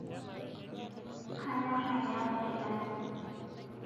Kanyor ainyangu kilani